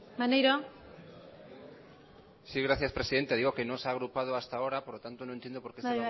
maneiro sí gracias presidenta digo que no se ha agrupado hasta ahora por lo tanto no entiendo por qué se